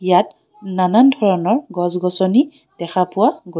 ইয়াত নানান ধৰণৰ গছ- গছনি দেখা পোৱা গৈ--